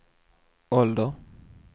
ålder